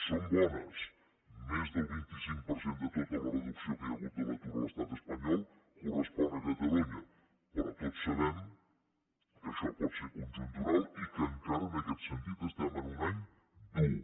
són bones més del vint cinc per cent de tota la reducció que hi ha hagut de l’atur a l’estat espanyol correspon a catalunya però tots sabem que això pot ser conjuntural i que encara en aquest sentit estem en un any dur